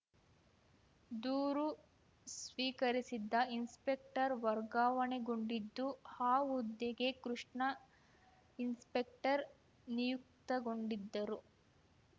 ದೂರು ಸ್ವೀಕರಿಸಿದ್ದ ಇನ್ಸ್‌ಪೆಕ್ಟರ್‌ ವರ್ಗಾವಣೆಗೊಂಡಿದ್ದು ಆ ಹುದ್ದೆಗೆ ಕೃಷ್ಣ ಇನ್ಸ್‌ಪೆಕ್ಟರ್‌ ನಿಯುಕ್ತಗೊಂಡಿದ್ದರು